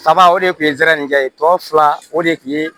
Saba o de tun ye sɛrɛnɛni kɛ tɔ fila o de tun ye